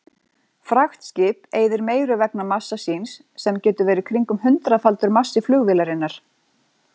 Fraktskip eyðir meiru vegna massa síns sem getur verið kringum hundraðfaldur massi flugvélarinnar.